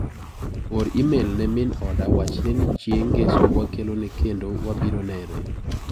Or imel ne min oda wachne ni chieng' ng'eso wakelone kendo wabiro nere.